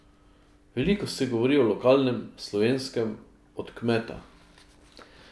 Veliko se govori o lokalnem, slovenskem, od kmeta.